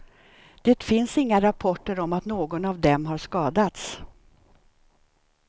Det finns inga rapporter om att någon av dem har skadats.